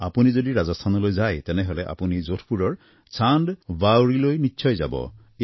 আপুনি যদি ৰাজস্থানলৈ যায় তেনেহলে আপুনি যোধপুৰৰ চান্দ বাউৰীলৈ নিশ্চয় যাব